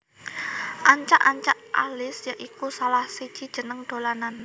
Ancak ancak Alis ya iku salah siji jeneng dolanan